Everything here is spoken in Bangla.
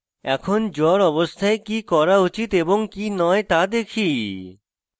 এখন জ্বর অবস্থায় কি করা উচিত এবং কি নয় তা দেখি